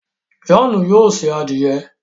John yóò se adiẹ